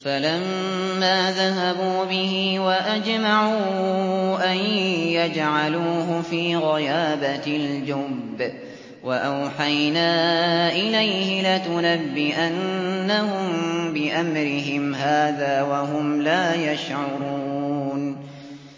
فَلَمَّا ذَهَبُوا بِهِ وَأَجْمَعُوا أَن يَجْعَلُوهُ فِي غَيَابَتِ الْجُبِّ ۚ وَأَوْحَيْنَا إِلَيْهِ لَتُنَبِّئَنَّهُم بِأَمْرِهِمْ هَٰذَا وَهُمْ لَا يَشْعُرُونَ